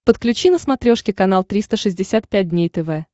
подключи на смотрешке канал триста шестьдесят пять дней тв